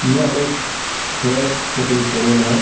यह एक hair cutting salon है ।